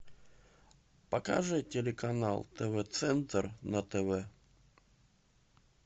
покажи телеканал тв центр на тв